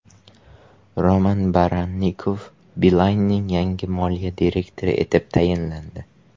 Roman Barannikov Beeline’ning yangi moliya direktori etib tayinlandi.